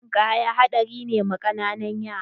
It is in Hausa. Ruwan ninkaya haɗari ne ma ƙananun yara.